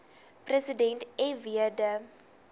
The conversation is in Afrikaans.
president fw de